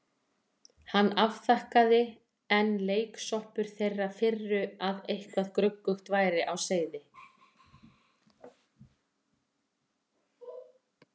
Hann afþakkaði, enn leiksoppur þeirrar firru að eitthvað gruggugt væri á seyði.